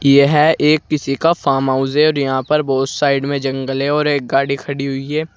यह एक किसी का फार्म हाउस है और यहां पर बहुत साइड में जंगल है और एक गाड़ी खड़ी हुई है।